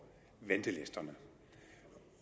ventelisterne